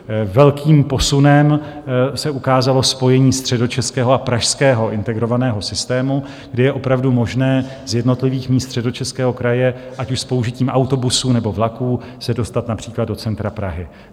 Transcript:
Velkým posunem se ukázalo spojení středočeského a pražského integrovaného systému, kde je opravdu možné z jednotlivých míst Středočeského kraje, ať už s použitím autobusů, nebo vlaků, se dostat například do centra Prahy.